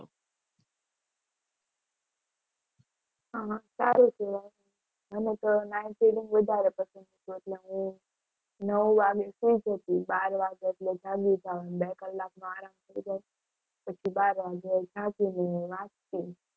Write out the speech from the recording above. સારું કહેવાય. મને તો night reading વધારે પસંદ છે એટલે હું નવ વાગે સૂઈ જતી. બાર વાગે એટલે જાગી જાઓ. એટલે બે કલાકનો આરામ થઈ જાય પછી બાર વાગે જાગીને વાંચતી.